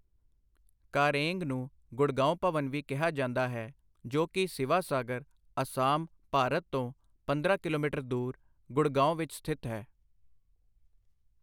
ਕਾਰੇਂਗ ਨੂੰ ਗੁੜਗਾਓਂ ਭਵਨ ਵੀ ਕਿਹਾ ਜਾਂਦਾ ਹੈ, ਜੋ ਕਿ ਸਿਵਾ-ਸਾਗਰ, ਅਸਾਮ, ਭਾਰਤ ਤੋਂ ਪੰਦਰਾਂ ਕਿਲੋਮੀਟਰ ਦੂਰ ਗੁੜਗਾਂਵ ਵਿੱਚ ਸਥਿਤ ਹੈ।